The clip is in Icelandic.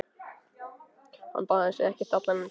Hann baðaði sig ekkert allan þennan tíma.